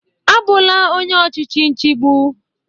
Abụla onye ọchịchị nchigbo!